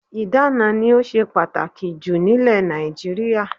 Ìdána ni ó ṣe pàtàkì jù nílẹ̀ Nàìjíríà.